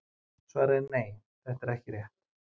Svarið er nei: Þetta er ekki rétt.